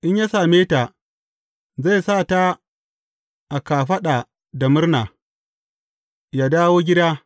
In ya same ta, zai sa ta a kafaɗa da murna, ya dawo gida.